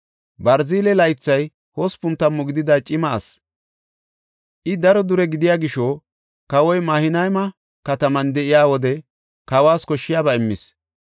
Barziley laythi hospun tammu gidida cima asi. I daro dure gidiya gisho kawoy Mahanayma kataman de7iya wode kawas koshshiyaba immis.